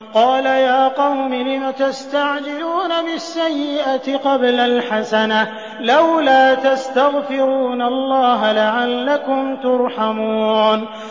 قَالَ يَا قَوْمِ لِمَ تَسْتَعْجِلُونَ بِالسَّيِّئَةِ قَبْلَ الْحَسَنَةِ ۖ لَوْلَا تَسْتَغْفِرُونَ اللَّهَ لَعَلَّكُمْ تُرْحَمُونَ